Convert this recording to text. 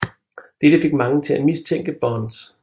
Dette fik mange til at mistænke Bonds